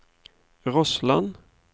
Rossland